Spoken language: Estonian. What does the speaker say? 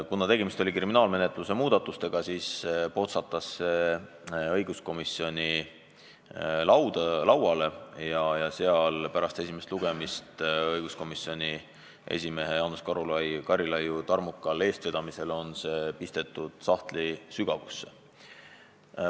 Kuna tegemist oli kriminaalmenetluse muutmisega, siis potsatas see õiguskomisjoni lauale, aga pärast esimest lugemist pisteti komisjoni esimehe Jaanus Karilaidi tarmukal eestvedamisel sügavale sahtlisse.